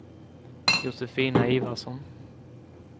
Josefina Ivarsson